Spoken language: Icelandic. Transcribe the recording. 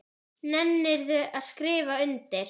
Nennirðu að skrifa undir?